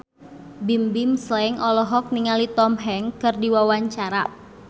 Bimbim Slank olohok ningali Tom Hanks keur diwawancara